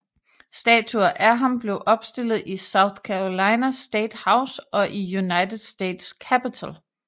Statuer af ham blev opstillet i South Carolina State House og i United States Capitol